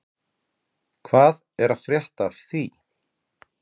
Hvað er að frétta af því?